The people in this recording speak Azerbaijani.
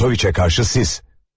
Çentoviçə qarşı siz.